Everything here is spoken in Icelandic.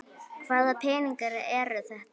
Hvaða peningar eru þetta?